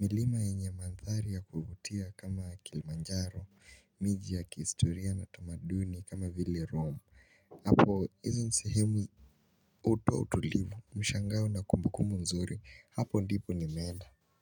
milima yenye maandhari ya kuvutia kama kilmanjaro, miji ya kiistoria na tamaduni kama vile rome Apo izo ni sehemu utu wa utulivu, mshangao na kumbukumbu nzuri, hapo ndipo nimeenda.